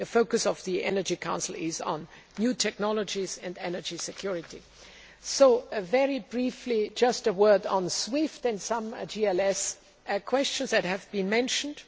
The focus of the Energy Council is on new technologies and energy security. A very brief word on SWIFT and some GLS questions that have been mentioned.